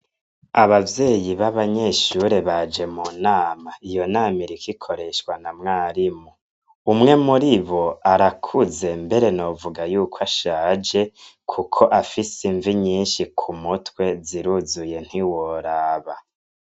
Abavyeyi babanyeshure baje munama iyo nama iriko ikoreshwa na mwarimu umwe muribo arakuze mbere novuga yuko ashaje kuko afise imvi nyinshi kumutwe ziruzuye ntiworaba.